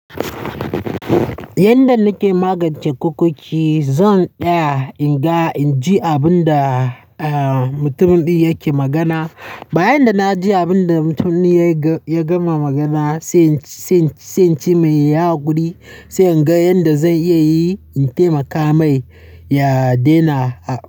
Yanda nake magance kukoki, zan tsaya in ga, in ji abin da, eh, mutumin ɗin yake magana. Bayan da na ji abin da mutumin ya ga-ya gama magana, sai, sai, sai ci mai yayi hakuri sai in ga yanda zai iya yi in taimaka mai ya daina a-